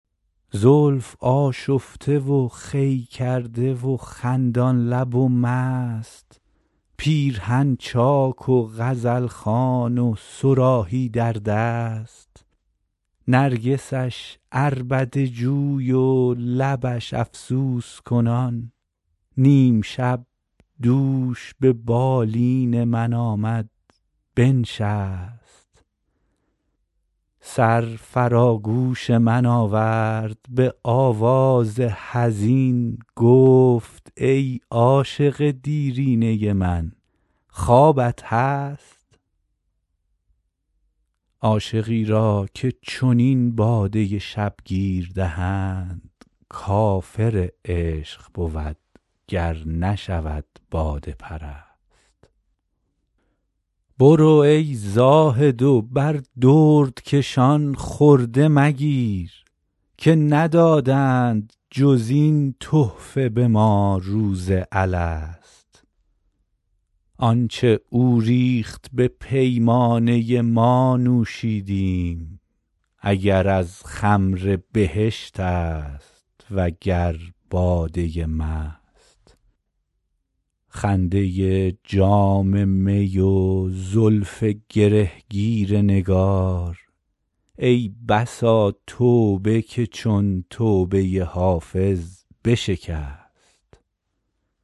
زلف آشفته و خوی کرده و خندان لب و مست پیرهن چاک و غزل خوان و صراحی در دست نرگسش عربده جوی و لبش افسوس کنان نیم شب دوش به بالین من آمد بنشست سر فرا گوش من آورد به آواز حزین گفت ای عاشق دیرینه من خوابت هست عاشقی را که چنین باده شبگیر دهند کافر عشق بود گر نشود باده پرست برو ای زاهد و بر دردکشان خرده مگیر که ندادند جز این تحفه به ما روز الست آن چه او ریخت به پیمانه ما نوشیدیم اگر از خمر بهشت است وگر باده مست خنده جام می و زلف گره گیر نگار ای بسا توبه که چون توبه حافظ بشکست